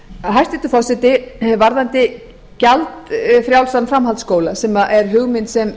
hæstvirtur forseti varðandi gjaldfrjálsan framhaldsskóla sem er hugmynd sem